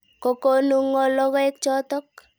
Kokonu ng'o logoek chotok?